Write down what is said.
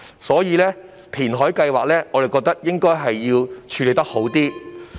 所以，我們覺得填海計劃要作更好處理。